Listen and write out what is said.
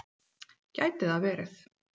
Gæti það verið